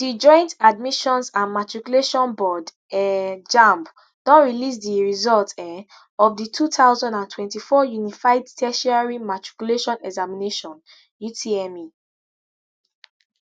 di joint admissions and matriculation board um jamb don release di results um of di two thousand and twenty-four unified tertiary matriculation examination utme